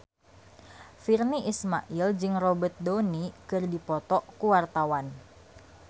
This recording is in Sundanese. Virnie Ismail jeung Robert Downey keur dipoto ku wartawan